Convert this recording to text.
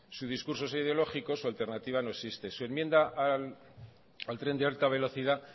sus discursos ideológicos su alternativa no existe su enmienda al tren de alta velocidad